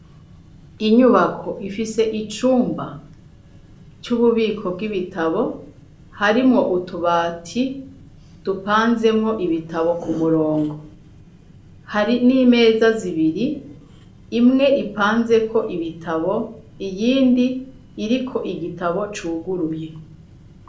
Inyubako ifise icumba c'ububiko bw'ibitabo harimwo utubati dupanzemwo ibitabo ku murongo hari n'imeza zibiri imwe ipanzeko ibitabo iyindi iriko igitabo cuguruye.